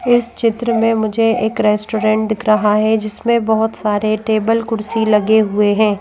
इस चित्र मे मुझे एक रेस्टोरेंट दिख रहा है जिसमे बहोत सारे टेबल कुर्सी लगे हुए हैं।